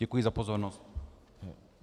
Děkuji za pozornost.